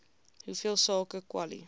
hoeveel sake kwali